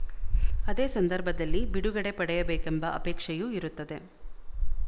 ಅದೇ ಸಂದರ್ಭದಲ್ಲಿ ಬಿಡುಗಡೆ ಪಡೆಯಬೇಕೆಂಬ ಅಪೇಕ್ಷೆಯೂ ಇರುತ್ತದೆ